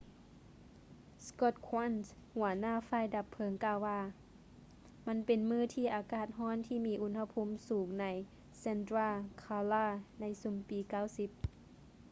scott kouns ຫົວໜ້າຝ່າຍດັບເພີງກ່າວວ່າ ມັນເປັນມື້ທີ່ອາກາດຮ້ອນທີ່ມີອຸນຫະພູມສູງໃນ santa clara ໃນຊຸມປີ 90